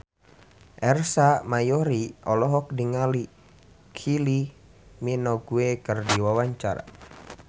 Ersa Mayori olohok ningali Kylie Minogue keur diwawancara